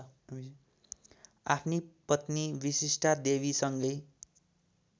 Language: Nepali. आफ्नी पत्नी विशिष्टादेवीसँगै